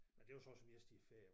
Men det var så også mest i æ ferier